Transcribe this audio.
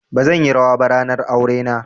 Bazan yi rawa ba ranar aure na.